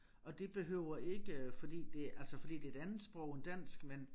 Og det behøver ikke fordi det altså fordi det et andet sprog end dansk men